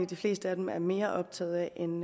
de fleste af dem er mere optaget af end